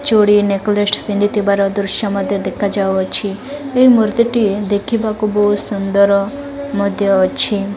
ଚୁଡ଼ି ନେକଲେସ୍ ପିନ୍ଧି ଥିବାର ଦୃଶ୍ୟ ମଧ୍ୟ ଦେଖା ଯାଉଅଛି ଏହି ମୁଦିଟି ଦେଖିବାକୁ ବୋହୁତ ସୁନ୍ଦର ମଧ୍ୟ ଅଛି।